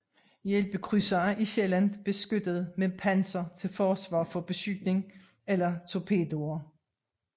Hjælpekrydsere er sjældent beskyttet med panser til forsvar for beskydning eller torpedoer